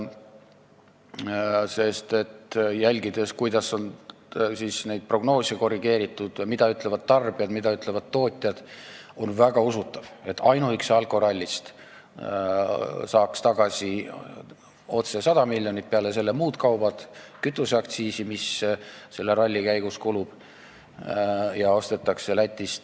Jälgides, kuidas on neid prognoose korrigeeritud, mida ütlevad tarbijad, mida ütlevad tootjad, on väga usutav, et ainuüksi alkorallist saaks tagasi otse 100 miljonit, aga peale selle tuleb arvestada kütust ja muud kaupa, mis selle ralli käigus ostetakse Lätist.